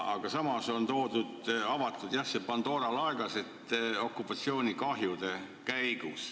Selle asemel on avatud see Pandora laegas ja tahetakse hüvitada okupatsioonikahjud.